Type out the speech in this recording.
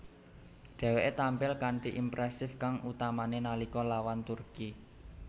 Dheweke tampil kanthi impresif kang utamane nalika lawan Turki